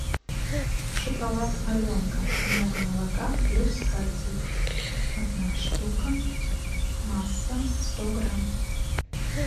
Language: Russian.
шоколад аленка много молока плюс кальций одна штука масса сто грамм